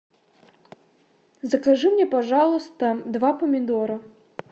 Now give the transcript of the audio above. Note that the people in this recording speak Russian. закажи мне пожалуйста два помидора